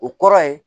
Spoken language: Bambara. O kɔrɔ ye